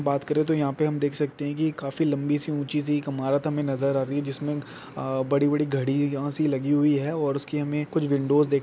बात कर तो यहा पे हम देख सकते है की काफी लम्बी सी ऊंची सी एक हमे इमारत नज़र आ रही है जिसमे बड़ी बड़ी घड़ी यहाँ से लगी हुआ है और उसके हमे कुछ विंडोज --